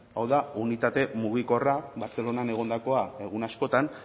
hau da unitate mugikorra bartzelonan egondakoa egun askotan